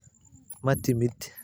ma timid